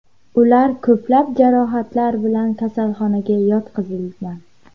Ular ko‘plab jarohatlar bilan kasalxonaga yotqizilgan.